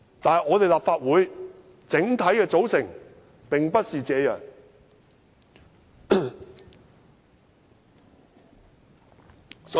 但是，立法會整體的組成並不是這樣。